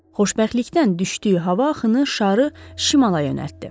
Xoşbəxtlikdən düşdüyü hava axını şarı şimala yönəltdi.